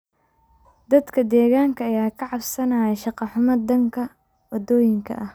Dadka deegaanka ayaa ka cabanaya shaqo xumo dhanka wadooyinka ah.